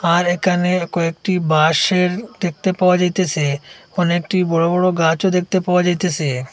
আর এখানে কয়েকটি বাঁশের দেখতে পাওয়া যাইতেছে অনেকটি বড়ো বড়ো গাছও দেখতে পাওয়া যাইতেছে।